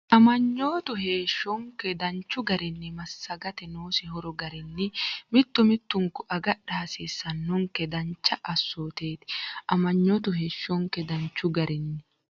Aman- yootu heeshshonke danchu garinni massagate noosi horo garinni mittu mittunku agadha hasiissannonke dancha assooteeti Aman- yootu heeshshonke danchu garinni.